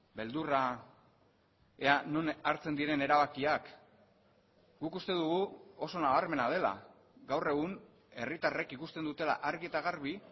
beldurra ea non hartzen diren erabakiak guk uste dugu oso nabarmena dela gaur egun herritarrek ikusten dutela argi eta garbi